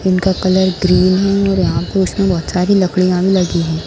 इनका colour green है और यहाँ पे उसमें बहुत सारी लकड़ियाँ भी लगी है।